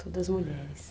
Todas mulheres.